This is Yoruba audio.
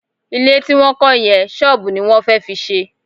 Ilé tí wọ́n kọ́ yẹn, ṣọ́ọ̀bù ni wọ́n fẹ́ fi ṣe